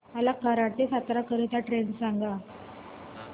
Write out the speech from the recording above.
मला कराड ते सातारा करीता ट्रेन सांगा